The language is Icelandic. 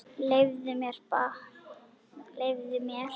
Leyfðu mér!